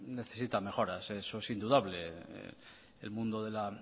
necesita mejoras y eso es indudable el mundo de la